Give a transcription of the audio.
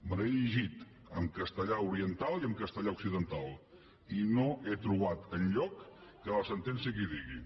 me l’he llegida en castellà oriental i en castellà occidental i no he trobat enlloc que la sentència ho digui